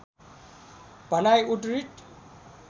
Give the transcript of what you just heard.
भनाइ उद्धृत